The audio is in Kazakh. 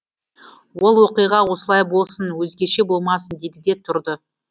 ол оқиға осылай болсын өзгеше болмасын деді де тұрды